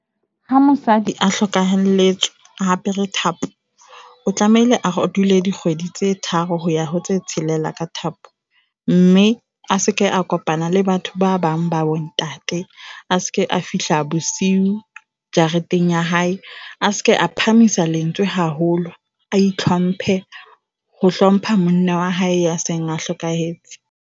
Ha mosadi a hlokahelletswe a apere thapo o tlamehile a ho dule dikgwedi tse tharo hoya hotse tshelela thapo mme a seke a kopana le batho ba bang ba bo ntate. A seke a fihla bosiu jareteng ya hae, a seke a phahamisa lentswe haholo, a hlomphe ho hlompha monna wa hae a seng a hlokahetse.